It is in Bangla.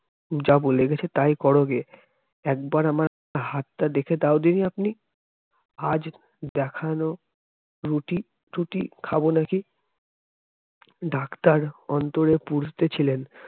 যা বলে গেছে তাই করোগে, একবার আমার হাতটা দেখে দাও দিনি আপনি আজ দেখানো রুটি ত্রুটি খাবো নাকি doctor অন্তরে পুড়তে ছিলেন